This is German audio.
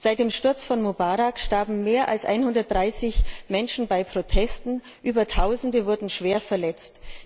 Seit dem Sturz von Mubarak starben mehr als 130 Menschen bei Protesten, Tausende wurden schwer verletzt.